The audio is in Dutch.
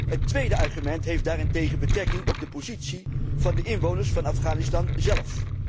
Het tweede argument heeft daarentegen betrekking op de positie van de inwoners van Afghanistan zelf.